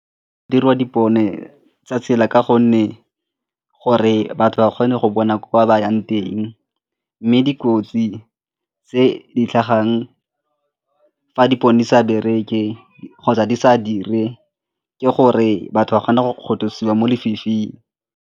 Go dirwa dipone tsa tsela ka gonne gore batho ba kgone go bona ko ba yang teng mme dikotsi tse di tlhagang fa dipone di sa bereke kgotsa di sa dire ke gore batho ba kgona go kgothosiwa mo lefifing.